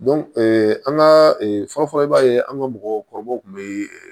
an ka fɔlɔfɔlɔ i b'a ye an ka mɔgɔkɔrɔbaw kun be